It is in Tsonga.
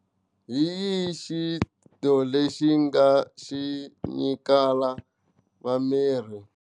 Hi xi to lexi nga xi nyikaka va miri.